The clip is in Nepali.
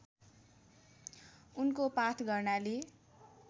उनको पाठ गर्नाले